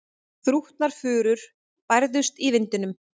Þrútnar furur bærðust í vindinum.